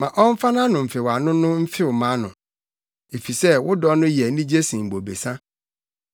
Ma ɔmfa nʼano mfewano no mfew mʼano, efisɛ wo dɔ no yɛ anigye sen bobesa.